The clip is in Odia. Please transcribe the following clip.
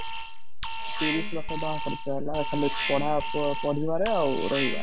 ତିରିଶ ଲକ୍ଷ ଟଙ୍କା ଖର୍ଚ ହେଲା ଖାଲି ପଢା ପଢିବାରେ ଆଉ ରହିବାରେ